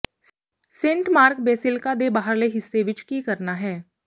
Saint Mark ਦੇ basilica ਦੇ ਬਾਹਰਲੇ ਹਿੱਸੇ ਵਿਚ ਕੀ ਕਰਨਾ ਹੈ